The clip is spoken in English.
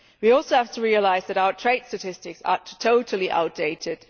We also have to realise that our trade statistics are totally outdated.